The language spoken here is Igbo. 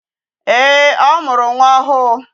Ee, ọ mụrụ nwa ọhụụ.